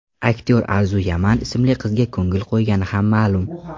Aktyor Arzu Yaman ismli qizga ko‘ngil qo‘ygani ham ma’lum.